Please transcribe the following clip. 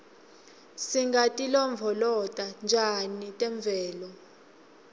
singatilondvolota njani temvelo